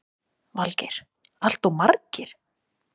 Valgeir: Alltof margir?